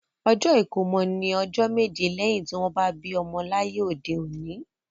Ọjọ́ ìkómọ ní ọjọ́ méje lẹ́yin tí wọ́n bí ọmọ láyé òde òní